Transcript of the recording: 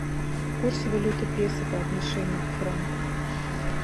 курс валюты песо по отношению к франку